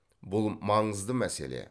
бұл маңызды мәселе